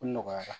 U nɔgɔyara